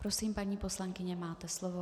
Prosím, paní poslankyně, máte slovo.